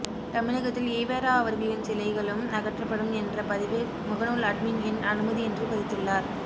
தமிழகத்தில் ஈவெரா அவர்களின் சிலைகளும் அகற்றப்படும் என்ற பதிவு முகநூல் அட்மின் என் அனுமதி இன்றி பதித்துள்ளார்